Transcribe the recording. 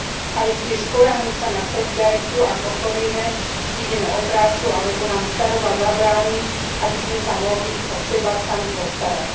Ale tiež spoľahnúť sa na solidaritu, ak ochorieme, prídeme o prácu alebo nám staroba zabráni, aby sme sa mohli o seba sami postarať.